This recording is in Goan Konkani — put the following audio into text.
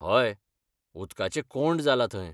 हय, उदकाचें कोंड जालां थंय.